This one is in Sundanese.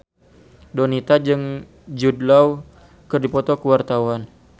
Donita jeung Jude Law keur dipoto ku wartawan